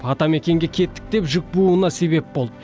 атамекенге кеттік деп жүк бууына себеп болды